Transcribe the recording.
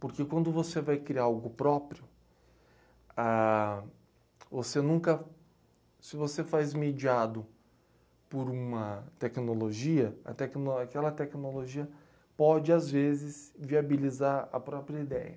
Porque quando você vai criar algo próprio, ah... você nunca. Se você faz mediado por uma tecnologia, a tecnolo, aquela tecnologia pode, às vezes, viabilizar a própria ideia.